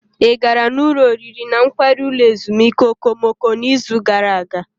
Ị gara n'ụlọ oriri na nkwari ulo ezimuike okomoko n'izu gara aga?